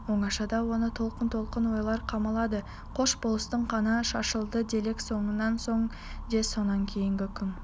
оңашада оны толқын-толқын ойлар қамалады қош болыстың қаны шашылды делік сонан соң ше сонан кейінгі күн